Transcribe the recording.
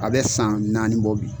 A bɛ san naani bɔ bi.